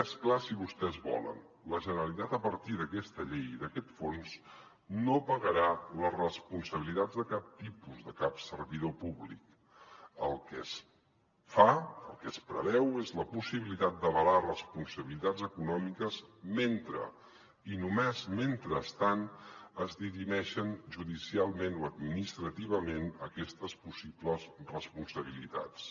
més clar si vostès volen la generalitat a partir d’aquesta llei i d’aquest fons no pagarà les responsabilitats de cap tipus de cap servidor públic el que es fa el que es preveu és la possibilitat d’avalar responsabilitats econòmiques mentre i només mentrestant es dirimeixen judicialment o administrativament aquestes possibles responsabilitats